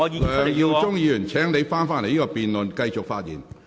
梁耀忠議員，請返回辯論的議題。